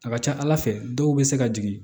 A ka ca ala fɛ dɔw bɛ se ka jigin